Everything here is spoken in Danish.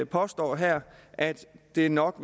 påstår her at det er nok